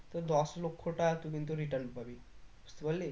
তো দশ লক্ষ টা তুই কিন্তু return পাবি বুঝতে পারলি